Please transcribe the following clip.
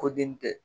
Ko den tɛ